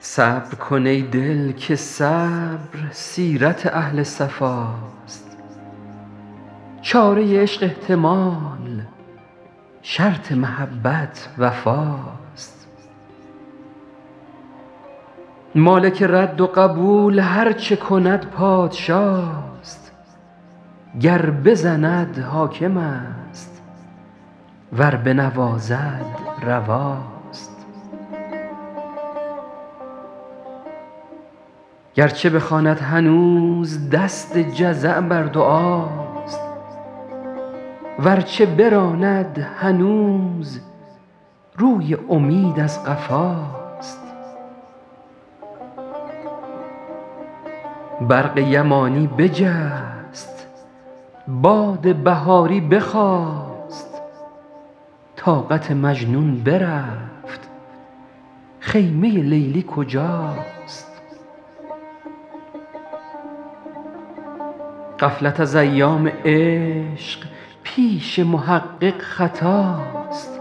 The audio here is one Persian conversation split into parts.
صبر کن ای دل که صبر سیرت اهل صفاست چاره عشق احتمال شرط محبت وفاست مالک رد و قبول هر چه کند پادشاست گر بزند حاکم است ور بنوازد رواست گر چه بخواند هنوز دست جزع بر دعاست ور چه براند هنوز روی امید از قفاست برق یمانی بجست باد بهاری بخاست طاقت مجنون برفت خیمه لیلی کجاست غفلت از ایام عشق پیش محقق خطاست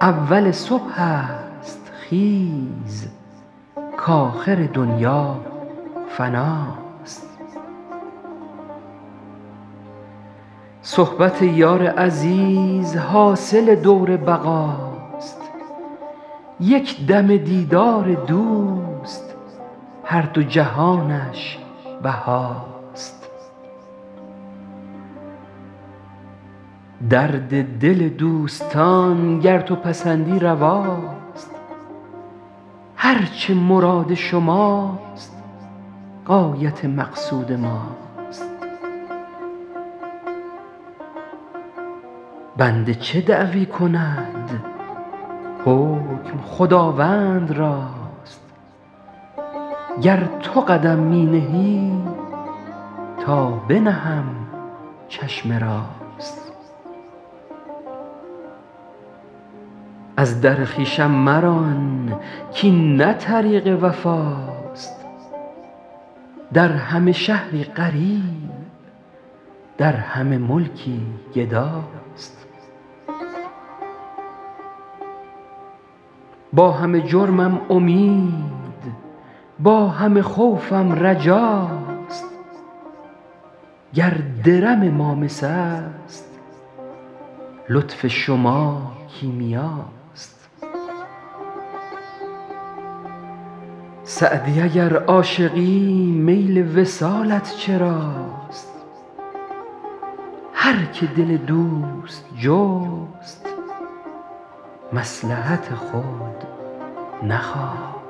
اول صبح است خیز کآخر دنیا فناست صحبت یار عزیز حاصل دور بقاست یک دمه دیدار دوست هر دو جهانش بهاست درد دل دوستان گر تو پسندی رواست هر چه مراد شماست غایت مقصود ماست بنده چه دعوی کند حکم خداوند راست گر تو قدم می نهی تا بنهم چشم راست از در خویشم مران کاین نه طریق وفاست در همه شهری غریب در همه ملکی گداست با همه جرمم امید با همه خوفم رجاست گر درم ما مس است لطف شما کیمیاست سعدی اگر عاشقی میل وصالت چراست هر که دل دوست جست مصلحت خود نخواست